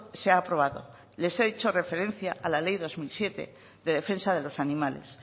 se ha aprobado les he hecho referencia a la ley dos mil siete de defensa de los animales